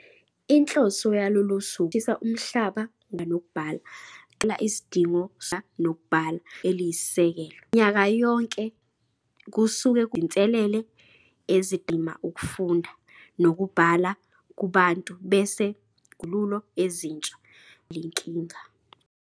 Inhloso yalolusuku ukuqwashisa umhlaba ngokubaluleka kokufunda nokubhala kanye nokugcizelela isidingo sokuthuthukisa ukufunda nokubhala njengelungelo eliyisisekelo. Minyaka yonke ngalolusuku kusuke kubukwa izinselele ezidala kubenzima ukufunda nokubhala kubantu bese kuqhamukwa nezixazululo ezintsha zokulwisana nalenkinga.